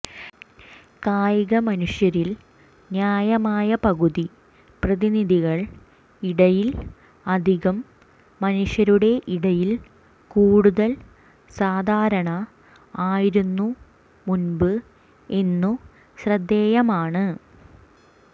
കായിക മനുഷ്യരിൽ ന്യായമായ പകുതി പ്രതിനിധികൾ ഇടയിൽ അധികം മനുഷ്യരുടെ ഇടയിൽ കൂടുതൽ സാധാരണ ആയിരുന്നു മുമ്പ് എന്നു ശ്രദ്ധേയമാണ്